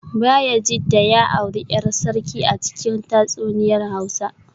Bayajidda ya auri ‘yar sarki a cikin tatsuniyar Hausa